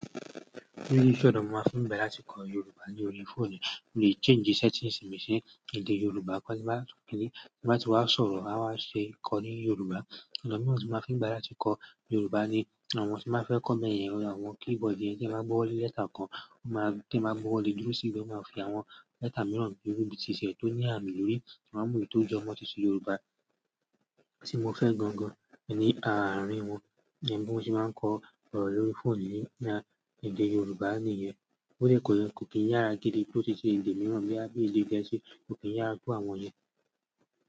Ṣe ọ̀nà mo máa ń fi bẹ̀rẹ̀ láti kọ Yorùbá ní orí fóònù, mo le change settings mi sí èdè Yorùbá, kó sì máa tún kíni, tí a bá ti wá sọ̀rọ̀ a wá ṣe kọ ní Yorùbá. Ọ̀nà mìíràn tí mo fi máa ń fi gba láti kọ Yorùbá ni àwọn tí máa ń fẹ́ kọ bẹ́yẹn, àwọn keyboard yẹn tí a máa gbọ́wọ lé lẹ́tà kan, tí a máa gbọ́ lé dúró sí ibi, a máa fi àwọn lẹ́tà mìíràn dúró, bí i ti ìṣẹ̀ tó ní àmì lórí, a máa mú ètò ìjọmọ́ ti Yorùbá tí mo fẹ́ gan-an ní àárín wọn, iyẹn bí mo ṣe máa ń kọ ọ̀rọ̀ lórí fóònù ní ní à èdè Yorùbá nìyẹn. Ó lè kọ yẹn, kò kí n yára gidi bí ó ti ṣe le èdè mìíràn bí i èdè gẹ̀ẹ́sì, kò kí n yára to àwọn yẹn.